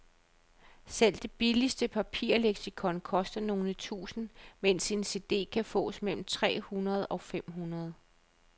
Selv det billigste papirleksikon koster nogle tusinde, mens en cd kan fås for mellem tre hundrede og fem hundrede.